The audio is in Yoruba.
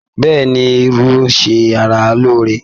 Bẹ́ẹ̀ni, irú ń ṣe ara lóore.